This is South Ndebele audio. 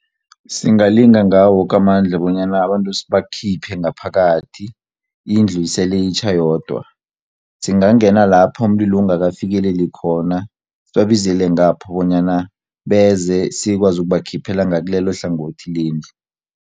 Singalinga ngawowoke amandla, bonyana abantu sibakhiphe ngaphakathi, indlu isele itjha yodwa. Singangena lapho umlilo ungakafikeleli khona, sibabizile ngapho bonyana beze sikwazi ukubakhiphela ngakilelohlangothi lendlu.